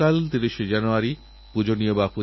খেলারএই মহাকুম্ভে রিওর শব্দ ঝংকারে